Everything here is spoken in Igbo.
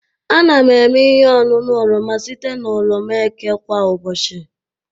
Ana m eme ihe ọṅụṅụ oroma site na oroma eke kwa ụbọchị